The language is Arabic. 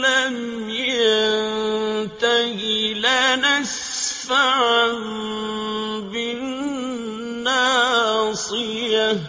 لَّمْ يَنتَهِ لَنَسْفَعًا بِالنَّاصِيَةِ